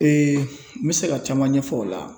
n bɛ se ka caman ɲɛfɔ o la